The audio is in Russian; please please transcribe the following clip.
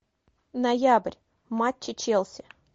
ноябрь матчи челси